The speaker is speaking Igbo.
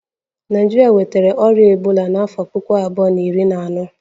Naijiria nwetara ọrịa ebola n'afọ puku abuo na iri na ano